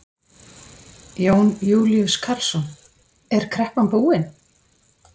Jón Júlíus Karlsson: Er kreppan búin?